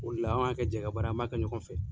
O le la an b'a kɛ jɛka baara ye an b'a kɛ ɲɔgɔn fɛ.